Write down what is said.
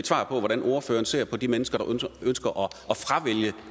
svar på hvordan ordføreren ser på de mennesker